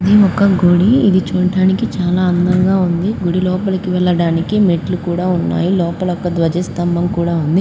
ఇది ఒక గుడి ఇది చూడ్డానికి చాలా అందంగా ఉంది గుడి లోపలకి వెళ్ళడానికి మెట్లు కూడా ఉన్నాయి లోపల ఒక ధ్వజ స్థంభం కూడా ఉంది.